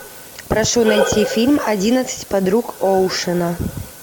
прошу найти фильм одиннадцать подруг оушена